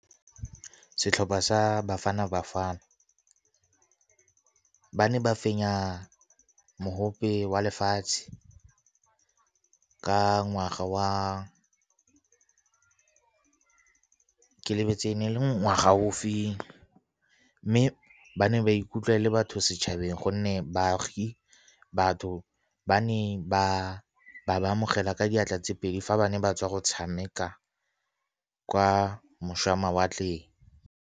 Setlhopha sa Bafana Bafana ba ne ba fenya wa lefatshe ka ngwaga wa, ke lebetse e ne e le ngwaga ofeng. Mme ba ne ba ikutlwa e le batho setšhabeng gonne baagi, batho ba ne ba ba amogela ka diatla tse pedi fa ba ne ba tswa go tshameka kwa mawatleng.